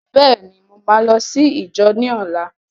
Bẹ́ẹ̀ ni, mo máa lọ sí íjọ ní ọlá.